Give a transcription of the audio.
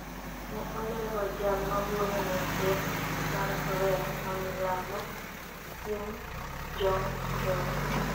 ne olero jal mawuoyo ne ker mar korea ma milambo, Im Jong seok